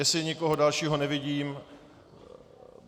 Jestli někoho dalšího nevidím...